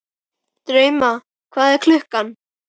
Drauma, hvað er klukkan?